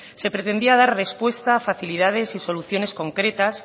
se pretendía dar respuesta facilidades y soluciones concretas